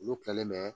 Olu kilalen mɛ